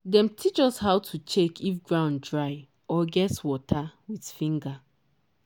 dem teach us how to check if ground dry or get water with finger.